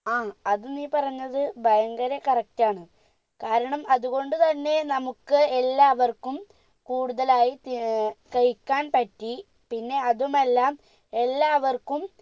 ആ അത് നീ പറഞ്ഞത് ഭയങ്കര correct ആണ് കാരണം അത് കൊണ്ട് തന്നെ നമുക്ക് എല്ലാവർക്കും കൂടുതലായി തി ഏർ കഴിക്കാൻ പറ്റി പിന്നെ അതുമല്ല എല്ലാവർക്കും